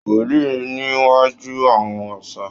Wólẹ̀ níwájú àwọn òòsà!